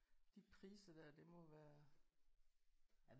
De priser der det må være